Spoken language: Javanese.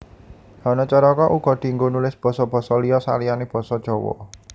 Hanacaraka uga dienggo nulis basa basa liya saliyané basa Jawa